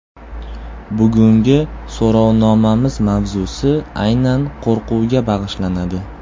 Bugungi so‘rovnomamiz mavzusi aynan qo‘rquvga bag‘ishlanadi.